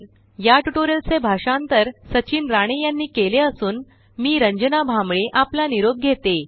याटुटोरिअलचे भाषांतर सचिन राणे यांनी केले असून मी रंजना भांबळे आपला निरोप घेते